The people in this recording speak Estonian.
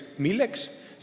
Milleks?